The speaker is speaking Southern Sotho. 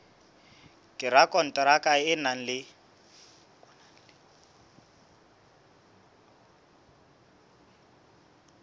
ka rakonteraka o na le